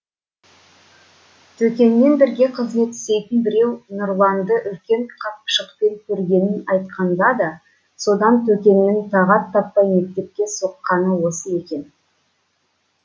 төкенмен бірге кызмет істейтін біреу нұрланды үлкен қапшықпен көргенін айтқанда да содан төкеннің тағат таппай мектепке соққаны осы екен